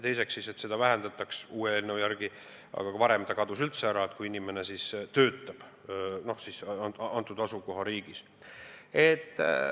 Teiseks, seda eelnõu järgi vähendatakse, aga varem kadus see üldse ära, kui inimene asukohariigis töötas.